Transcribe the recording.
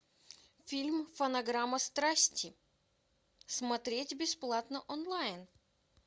фильм фонограмма страсти смотреть бесплатно онлайн